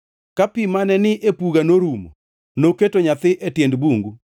Ka pi mane ni e puga norumo, noketo nyathi e tiend bungu.